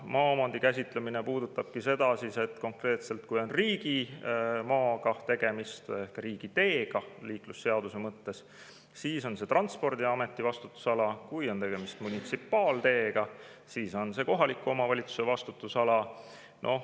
Maaomandi käsitlemine puudutabki seda, et konkreetselt, kui on tegemist riigimaaga ehk riigiteega liiklusseaduse mõttes, siis on see Transpordiameti vastutusala, kui on tegemist munitsipaalteega, siis on see kohaliku omavalitsuse vastutusala.